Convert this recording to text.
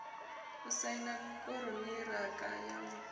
u saina konṱiraka ya u